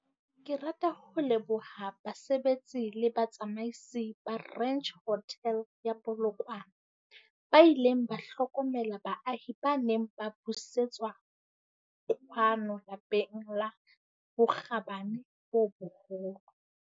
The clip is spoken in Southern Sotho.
Ke rata ho leboha basebetsi le batsamaisi ba Ranch Hotel ya Polokwane, ba ileng ba hlokomela baahi ba neng ba busetswa kwano lapeng ka bokgabane bo boholo.